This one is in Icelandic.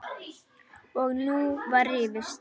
Og nú var rifist.